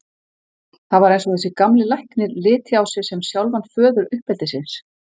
Það var eins og þessi gamli læknir liti á sig sem sjálfan föður uppeldisins.